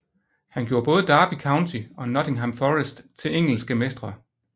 Han gjorde både Derby County og Nottingham Forest til engelske mestre